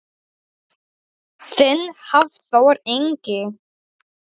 Þinn Hafþór Ingi.